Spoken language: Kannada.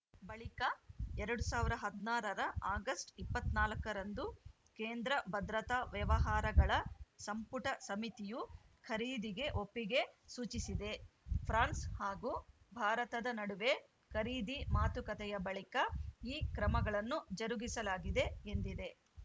ಬಳಿಕ ಎರಡ್ ಸಾವಿರದ ಹದಿನಾರ ರ ಆಗಸ್ಟ್‌ ಇಪ್ಪತ್ತ್ ನಾಲ್ಕ ರಂದು ಕೇಂದ್ರ ಭದ್ರತಾ ವ್ಯವಹಾರಗಳ ಸಂಪುಟ ಸಮಿತಿಯು ಖರೀದಿಗೆ ಒಪ್ಪಿಗೆ ಸೂಚಿಸಿದೆ ಫ್ರಾನ್ಸ್‌ ಹಾಗೂ ಭಾರತದ ನಡುವೆ ಖರೀದಿ ಮಾತುಕತೆಯ ಬಳಿಕ ಈ ಕ್ರಮಗಳನ್ನು ಜರುಗಿಸಲಾಗಿದೆ ಎಂದಿದೆ